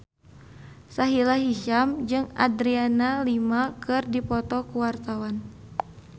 Sahila Hisyam jeung Adriana Lima keur dipoto ku wartawan